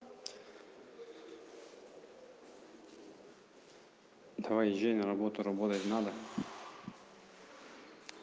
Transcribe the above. давай езжай на работу работать надо